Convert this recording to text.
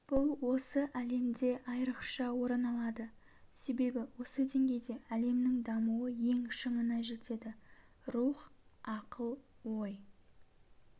бұл осы әлемде айрықша орын алады себебі осы деңгейде әлемнің дамуы ең шыңына жетеді рух ақыл ой